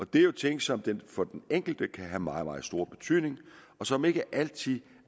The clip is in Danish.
det er jo ting som for den enkelte kan have meget meget stor betydning og som ikke altid